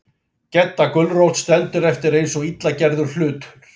Gedda gulrót stendur eftir eins og illa gerður hlutur.